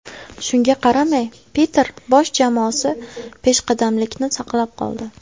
Shunga qaramay, Peter Bosh jamoasi peshqadamlikni saqlab qoldi.